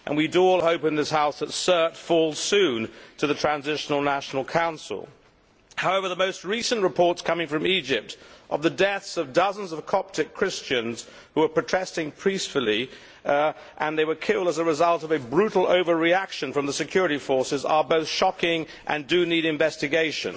We all hope in this House that Sirte falls soon to the Transitional National Council. However, the most recent reports coming from Egypt of the deaths of dozens of Coptic Christians who were protesting peacefully and killed as a result of a brutal overreaction by the security forces, are shocking and need investigation.